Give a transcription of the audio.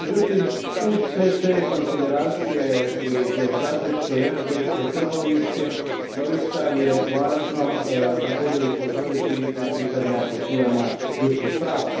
Međutim, uz sve te konsideracije, geostrateške, energetske, trgovinske doista je važno također upozoriti na pitanje poštivanja ljudskih prava.